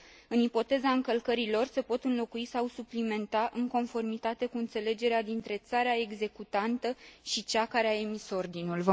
În ipoteza încălcării lor, se pot înlocui sau suplimenta în conformitate cu înțelegerea dintre țara executantă și cea care a emis ordinul.